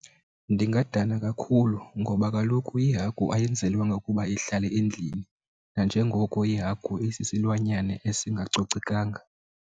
Ndingadana kakhulu ngoba kaloku ihagu ayenzelwanga ukuba ihlale endlini, nanjengoko iihagu isisilwanyana esingacocekanga.